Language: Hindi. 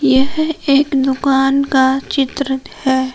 यह एक दुकान का चित्र है।